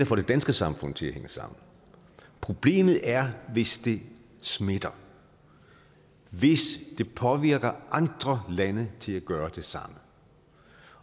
får det danske samfund til at hænge sammen problemet er hvis det smitter hvis det påvirker andre lande til at gøre det samme